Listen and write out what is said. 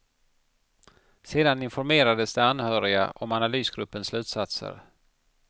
Sedan informerades de anhöriga om analysgruppens slutsatser.